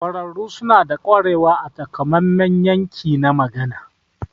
Ƙwararru suna da ƙwarewa a takamaiman yanki na magani.